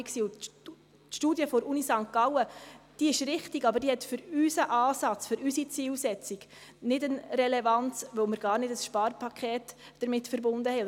Die Studie der Universität St. Gallen hat für unseren Ansatz, für unsere Zielsetzung keine Relevanz, weil wir damit gar kein Sparpaket verbunden haben.